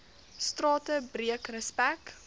strate breek respek